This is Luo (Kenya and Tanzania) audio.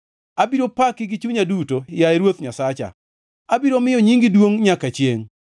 Abiro paki gi chunya duto, yaye Ruoth Nyasacha, abiro miyo nyingi duongʼ nyaka chiengʼ.